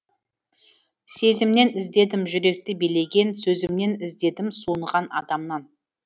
сезімнен іздедім жүректі билеген сөзімнен іздедім суынған адамнан